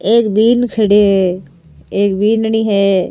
एक बिन खड़ो है एक बींदनी है।